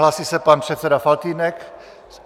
Hlásí se pan předseda Faltýnek.